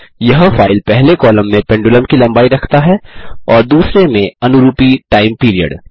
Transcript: यह फाइल पहले कॉलम में पेंडुलम की लम्बाई रखता है और दूसरे में अनुरूपी टाइम पीरियड